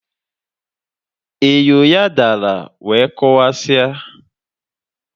Enyo ya dara wee kụwasie.